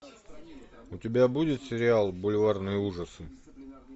у тебя будет сериал бульварные ужасы